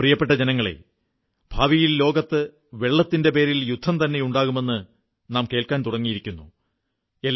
എന്റെ പ്രിയപ്പെട്ട ജനങ്ങളേ ഭാവിയിൽ ലോകത്ത് വെള്ളത്തിന്റെ പേരിൽ യുദ്ധംതന്നെ ഉണ്ടാകുമെന്ന് നാം കേൾക്കാൻ തുടങ്ങിയിരിക്കുന്നു